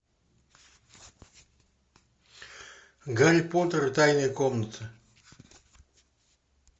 гарри поттер и тайная комната